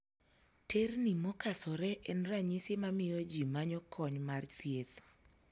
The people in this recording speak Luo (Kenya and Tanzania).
Terni mokasore en ranyisi mamiyo jii manyo kony mar thieth.